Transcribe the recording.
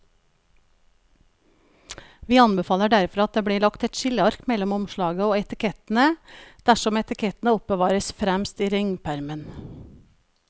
Vi anbefaler derfor at det blir lagt et skilleark mellom omslaget og etikettene dersom etikettene oppbevares fremst i ringpermen.